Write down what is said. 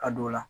Ka don o la